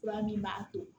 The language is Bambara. Fura min b'a to